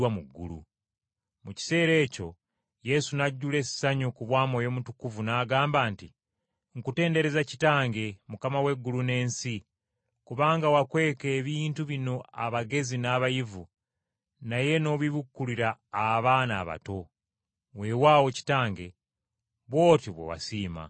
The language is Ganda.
Mu kiseera ekyo Yesu n’ajjula essanyu ku bwa Mwoyo Mutukuvu n’agamba nti, “Nkutendereza Kitange, Mukama w’eggulu n’ensi, kubanga wakweka ebintu bino abagezi n’abayivu, naye n’obibikkulira abaana abato. Weewaawo Kitange, bw’otyo bwe wasiima.